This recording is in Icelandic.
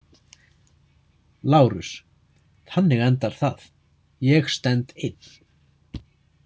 LÁRUS: Þannig endar það: Ég stend einn!